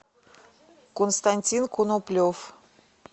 константин коноплев